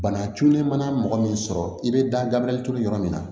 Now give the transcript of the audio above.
Bana cunne mana mɔgɔ min sɔrɔ i bɛ dabiri turu yɔrɔ min na